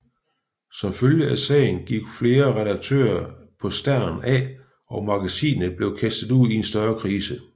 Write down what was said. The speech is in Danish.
Som følge af sagen gik flere redaktører på Stern af og magasinet blev kastet ud i en større krise